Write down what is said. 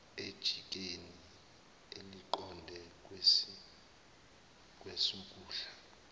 ejikeni eliqonde kwesokudla